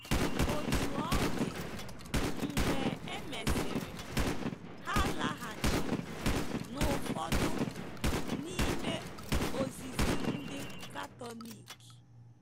Otú ọ dị, mgbe e mesịrị, ha laghachiri n'ụfọdụ n'ime ozizi ndị Katọlik.